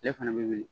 Ale fana bɛ wuli